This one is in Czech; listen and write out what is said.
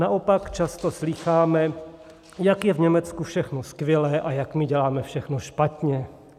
Naopak často slýcháme, jak je v Německu všechno skvělé a jak my děláme všechno špatně.